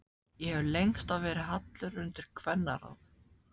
Ég hef lengst af verið hallur undir kvennaráð.